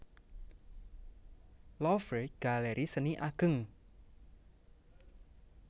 Louvre galeri seni ageng